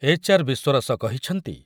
HR ବିଶ୍ୱରସ କହିଛନ୍ତି